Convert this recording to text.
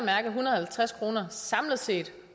halvtreds kroner samlet set